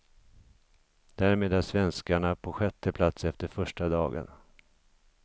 Därmed är svenskarna på sjätte plats efter första dagen.